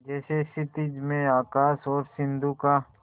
जैसे क्षितिज में आकाश और सिंधु का